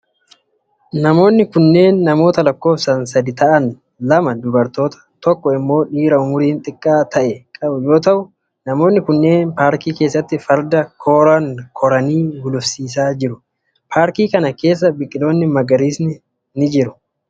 Namoonni kunneen namoota lakkoofsan sadii ta'an lama dubartoota tokko immoo dhiira umuriin xiqqaa ta'e qabau yoo ta'u, namoonni kunneen paarkii keessatti farda kooraan koranii gulufsiisaa jiru. Paarkii kana keessa biqiloonni magariisni ni jiru.